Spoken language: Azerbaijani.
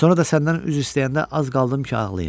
Sonra da səndən üzr istəyəndə az qaldım ki, ağlayım.